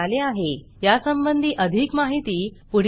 यासंबंधी अधिक माहिती पुढील linkलिंक वर उपलब्ध आहेधन्यवाद